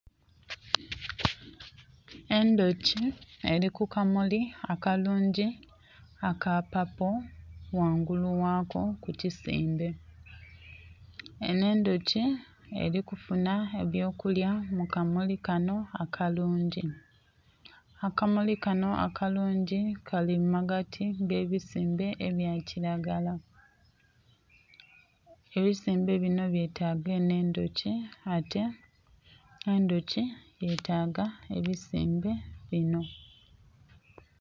Endhuki eri ku kamuli akalungi aka papo ghangulu ghaako ku kisimbe, enho endhuki er'ifunha eby'okulya mu kamuli kanho akalungi. Akamuli kanho akalungi kali mu magati ag'ebisimbe ebyakilagala. Ebisimbe binho byetaaga enho endhoki, ate endhoki enho, yetaaga ebisimbe binho.